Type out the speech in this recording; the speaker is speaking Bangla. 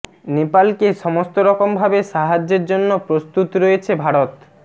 নেপালকে সমস্ত রকম ভাবে সাহায্যের জন্য প্রস্তুত রয়েছে ভারত